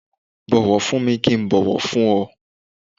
Bu ọ̀wọ̀ fún mi kí n bọ̀wọ̀ fún ọ